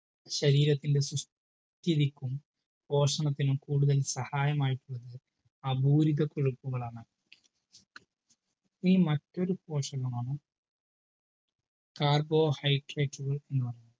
ശരീരത്തിന്റെ സുസ്ഥിതിക്കും പോഷണത്തിനും കൂടുതൽ സഹായമായിട്ടുള്ളത് അപൂരിത കൊഴുപ്പുകളാണ് ഇനി മറ്റൊരു പോഷകമാണ് carbohydrate കൾ എന്ന് പറയുന്നത്